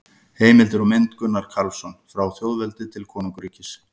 Heimildir og mynd: Gunnar Karlsson: Frá þjóðveldi til konungsríkis